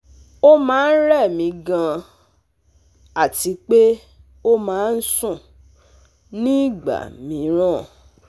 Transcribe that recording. Ó máa ń rẹ̀ mí gan-an àti pé ó máa ń sùn nígbà mìíràn